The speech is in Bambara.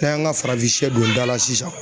N'an y'an ka farafin don da la sisan